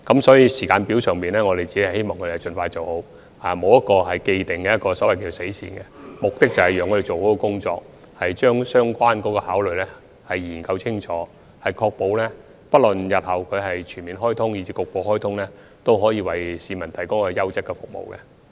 所以，在時間表上，我們只希望港鐵公司盡快完成研究，並沒有一個既定的所謂"死線"，目的是把工作做好，把相關的考慮因素研究清楚，確保日後不論是局部或全面開通，都可以為市民提供優質的服務。